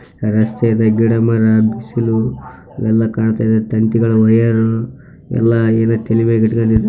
ರಸ್ತೆ ಇದೆ ಗಿಡ ಮರಗಳು ಬಿಸಿಲು ಎಲ್ಲಾ ಕಾಣಿಸ್ತಾ ಇದೆ ತಂತಿಗಳು ವೈಯರ್‌ ಎಲ್ಲಾ --